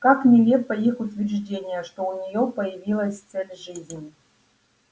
как нелепо их утверждение что у нее появилась цель жизни